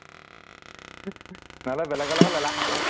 নহলে বেলেগৰ লগত লেলা